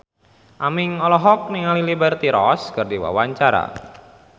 Aming olohok ningali Liberty Ross keur diwawancara